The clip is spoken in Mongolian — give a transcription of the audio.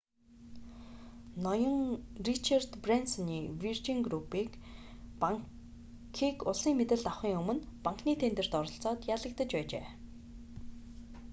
ноён ричард брэнсоны виржин групп нь банкийг улсын мэдэлд авахын өмнө банкны тендерт оролцоод ялагдаж байжээ